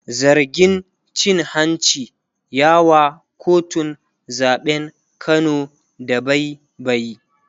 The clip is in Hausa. zargin cin hanci ya wa kotun zaɓen Kano dabaibayi